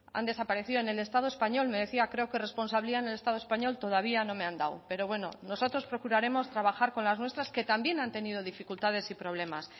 han desaparecido en el estado español me decía creo que responsabilidad en el estado español todavía no me han dado pero bueno nosotros procuraremos trabajar con las nuestras que también han tenido dificultades y problemas